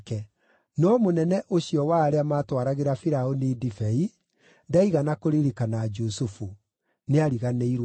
No mũnene ũcio wa arĩa maatwaragĩra Firaũni ndibei ndaigana kũririkana Jusufu; nĩariganĩirwo nĩwe.